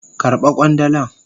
Karba kwandalan.